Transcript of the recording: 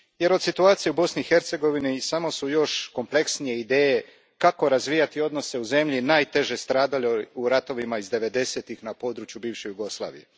Od situacije u Bosni i Hercegovini kompleksnije su samo ideje kako razvijati odnose u zemlji najteže stradaloj u ratovima iz devedesetih na području bivše Jugoslavije.